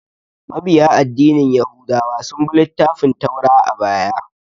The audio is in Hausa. Mabiya addinin yahudawa sun bi littafin Taura a baya